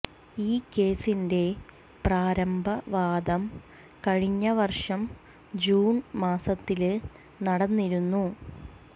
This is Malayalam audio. ഈ കേസിന്റെ പ്രാരംഭ വാദം കഴിഞ്ഞ വര്ഷം ജൂണ് മാസത്തില് നടന്നിരുന്നു